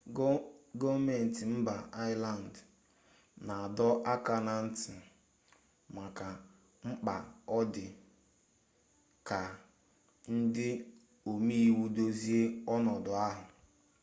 gọọmentị mba ireland na-adọ aka na ntị maka mkpa ọ dị ka ndị omeiwu dozie ọnọdụ ahụ